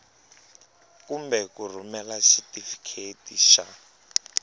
kumbe ku rhumela xitifiketi xa